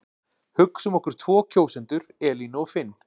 Hugsum okkur tvo kjósendur Elínu og Finn.